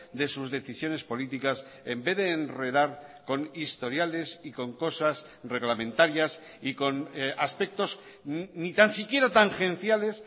de sus decisiones políticas en vez de enredar con historiales y con cosas reglamentarias y con aspectos ni tan siquiera tangenciales